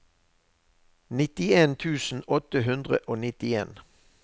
nittien tusen åtte hundre og nittien